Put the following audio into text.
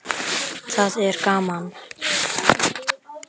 Það er gaman.